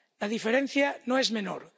La diferencia no es menor.